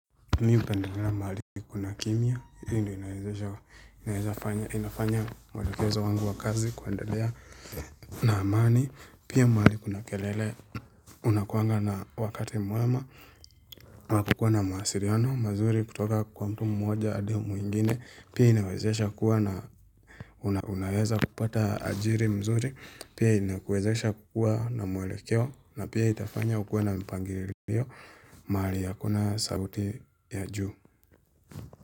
Mimi hupendelela mahali kuna kimya, hiyo ndiyo inawezesha, inafanya mwelekezo wangu wa kazi kuandelea na amani, pia mahali kuna kelele, unakuanga na wakati mwema, wa kukuwa na mawasiliano mazuri kutoka kwa mtu mmoja hadi mwingine, pia inawezesha kuwa na unaweza kupata ajiri mzuri pia inakuwezesha kukua na mwelekeo na pia itafanya ukua na mpangilio mahali ya hakuna sauti ya juu.